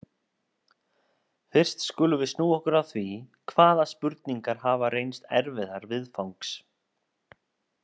Fyrst skulum við snúa okkur að því, hvaða spurningar hafa reynst erfiðar viðfangs.